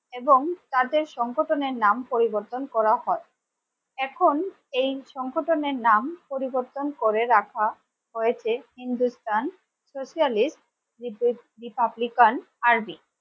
এবং তাদের সংগঠনের নাম পরিবর্তন করা হয় এখন এই সংগঠনের নাম পরিবর্তন করে রাখা হয়েছে hindustan socialist রিপা republican army